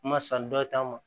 N ma san dɔ ta n ma